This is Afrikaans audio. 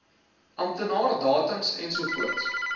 amptenaar datums ensovoorts